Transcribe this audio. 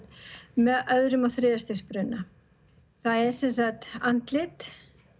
með öðrum og þriðja stigs bruna það er sem sagt andlit